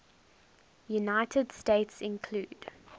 united states include